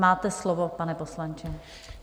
Máte slovo, pane poslanče.